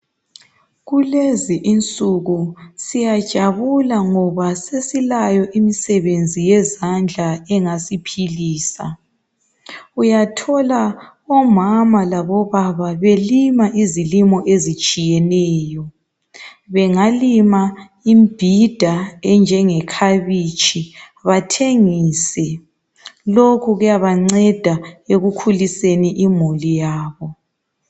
Kulezi insuku siyajabula ngoba sesilayo imisebenzi yezandla engasiphilisa. Uyathola omama labo baba belima izilimo ezitshiyeneyo, bengalima ibhida enjenge khabitshi bathengise lokhu kuyabanceda ekukhuliseni imuli yabo.